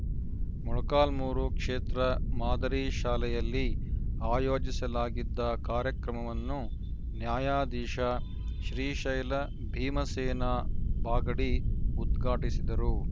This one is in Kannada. ಮೊಳಕಾಲ್ಮುರು ಕ್ಷೇತ್ರ ಮಾದರಿ ಶಾಲೆಯಲ್ಲಿ ಆಯೋಜಿಸಲಾಗಿದ್ದ ಕಾರ್ಯಕ್ರಮವನ್ನು ನ್ಯಾಯಾಧೀಶ ಶ್ರೀಶೈಲ ಭೀಮಸೇನಾ ಬಾಗಡಿ ಉದ್ಘಾಟಿಸಿದರು